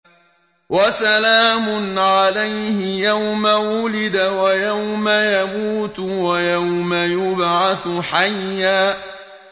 وَسَلَامٌ عَلَيْهِ يَوْمَ وُلِدَ وَيَوْمَ يَمُوتُ وَيَوْمَ يُبْعَثُ حَيًّا